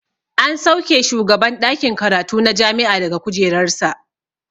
An sauke shugaban ɗakin karatu na jami'a daga kujerar sa.